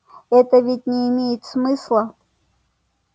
это ведь не имеет смысла